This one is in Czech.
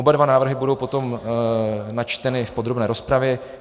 Oba dva návrhy budou potom načteny v podrobné rozpravě.